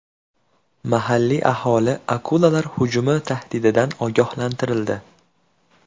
Mahalliy aholi akulalar hujumi tahdididan ogohlantirildi.